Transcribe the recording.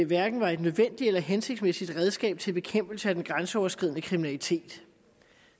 hverken var et nødvendigt eller hensigtsmæssigt redskab til bekæmpelse af den grænseoverskridende kriminalitet